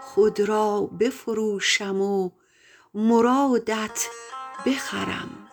خود را بفروشم و مرادت بخرم